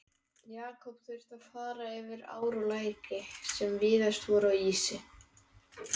Jakob þurfti að fara yfir ár og læki, sem víðast voru á ísi.